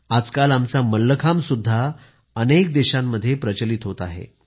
आजकाल आमचा मल्लखांबसुद्घा अनेक देशांमध्ये प्रचलित होत आहे